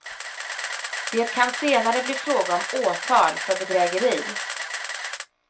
Det kan senare bli fråga om åtal för bedrägeri.